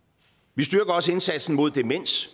vi styrker også indsatsen mod demens